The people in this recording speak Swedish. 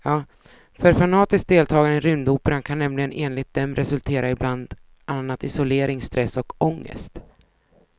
För fanatiskt deltagande i rymdoperan kan nämligen enligt dem resultera i bland annat isolering, stress och ångest.